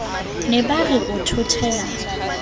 ne ba re o thothela